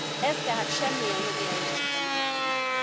Ez tehát semmilyen jogi eljárásban nem állna meg.